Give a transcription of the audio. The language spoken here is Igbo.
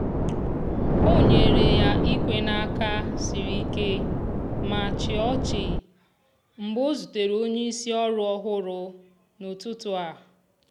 o nyere ya ikwe n'aka sịrị ike ma chịa ọchị mgbe o zutere onye isi ọrụ ọhụrụ n'ụtụtụ a.